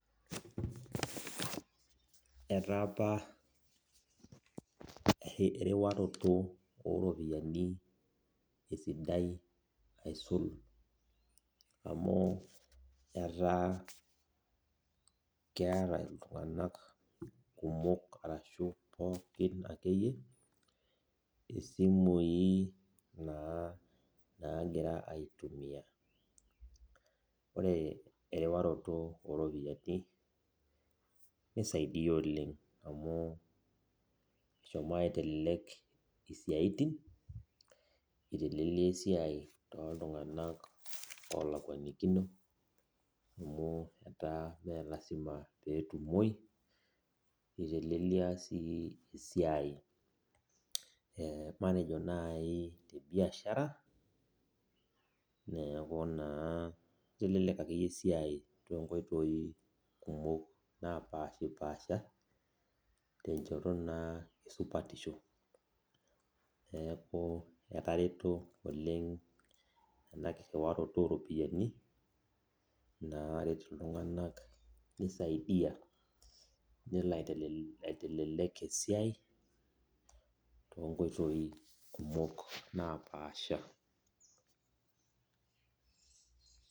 Etaapa erewato oropiyanibesidai aisul amu ataa keeta ltunganak kumok ashu poki akeyie simui nagira aitumia ore erewaroto oropiyiani nisaidia oleng amu eshomo aitelelek siatin itelelia esiai toltunganak olakuakino amu melasima petumoi itelelia si esiai matejo nai tebiashara neaku na itelelia ake aesia tonkoitoi napashipaasha tenkoitoi na esupatisho neaku etareto oleng ena kiriwaroto oropiyiani nisaidia nelobaitele esiai tonkoitoi kumok napasha.